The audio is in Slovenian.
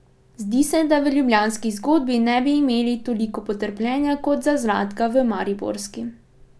Zdi se, da v ljubljanski zgodbi ne bi imeli toliko potrpljenja kot za Zlatka v mariborski?